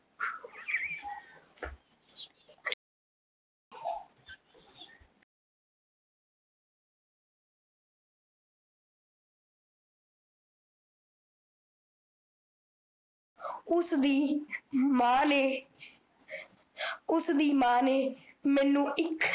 ਉਸਦੀ ਮਾਂ ਨੇ ਮੈਨੂ ਇੱਕ